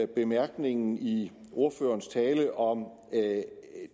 det bemærkningen i ordførerens tale om